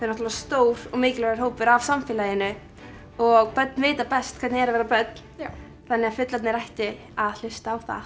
náttúrulega stór og mikilvægur hópur af samfélaginu og börn vita best hvernig er að vera börn já þannig að fullorðnir ættu að hlusta á það